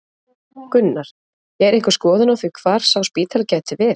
Gunnar: Er einhver skoðun á því hvar sá spítali gæti verið?